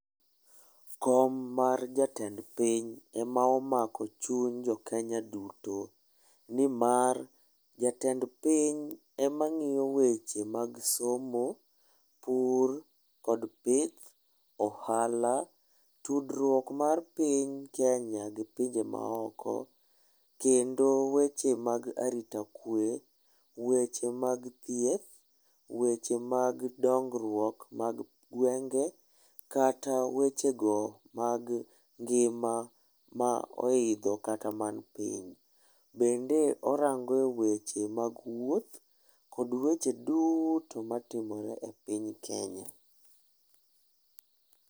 Kom mar jatend piny ema omako chuny jo Kenya duto, ni mar ja tend piny ema ngi'yo weche mag somo , pur kod pith , ohala ,tudruok mar piny Kenya gi pinje maoko, kendo weche mag arita kwe, weche mag thieth, weche mag dong'ruok mag gwenge' kata wechego mag ngi'ma ma oitho kata man piny bende orango' e weche mag wuoth kod weche duto matimore e piny Kenya.